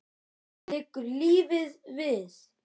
Liggur lífið við?